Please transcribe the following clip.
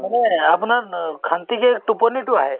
মানে এই আপোনাৰ অ শান্তিকে টোপনিতো আহে